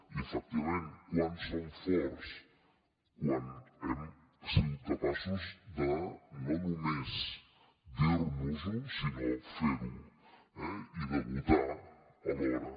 i efectivament quan som forts quan hem sigut capaços de no només dir nos ho sinó fer ho eh i de votar alhora